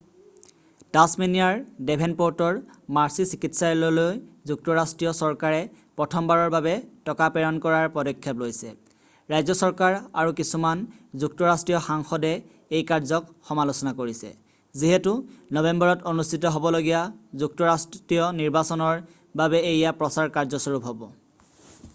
"টাছমেনিয়াৰ ডেভেনপ'ৰ্টৰ মাৰ্ছি চিকিৎসালয়ললৈ যুক্তৰাষ্ট্ৰীয় চৰকাৰে প্ৰথমবাৰৰ বাবে টকা প্ৰেৰণ কৰাৰ পদক্ষেপ লৈছে ৰাজ্য চৰকাৰ আৰু কিছুমান যুক্তৰাষ্ট্ৰীয় সাংসদে এই কাৰ্যক সমালোচনা কৰিছে যিহেতু নৱেম্বৰত অনুষ্ঠিত হ'বলগীয়া যুক্তৰাষ্ট্ৰীয় নিৰ্বাচনৰ বাবে এয়া প্ৰচাৰ কাৰ্যস্বৰূপ হ'ব। "